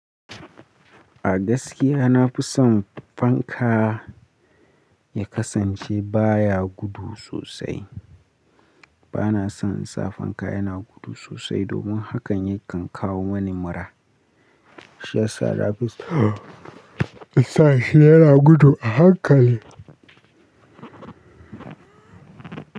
A gaskiya na fi son fanka ya kasance ba ya gudu sosai. Ba na son in sa fanka yana gudu sosai domin hakan yakan kawo mani mura. Shi ya sa na fi so in sa shi yana gudu a hankali.